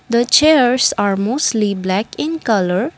the chairs are mostly black in colour.